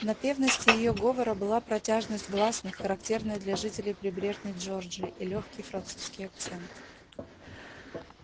в напевности её говора была протяжность гласных характерная для жителей прибрежной джорджии и лёгкий французский акцент